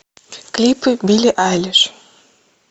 клипы билли айлиш